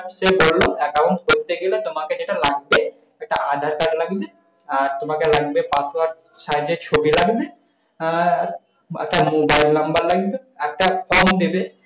সে বোললো account করতে গেলে তোমাকে যেটা লাগবে, একটা আধার-কার্ড লাগবে আর তোমাকে লাগবে password size এর ছবি লাগবে। আর একটা mobile number লাগবে, একটা card দেবে